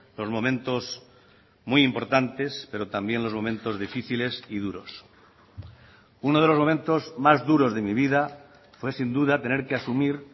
los momentos muy importantes pero también los momentos difíciles y duros uno de los momentos más duros de mi vida fue sin duda tener que asumir